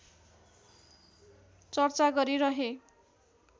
चर्चा गरिरहे